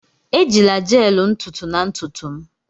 Ejila gel ntutu na ntutu m!